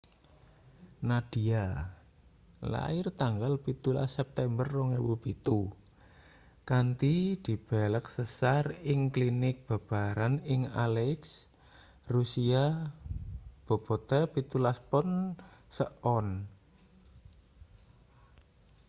nadia lair tanggal 17 september 2007 kanthi dibelek sesar ing klinik babaran ing aleisk rusia bobote 17 pon 1 ons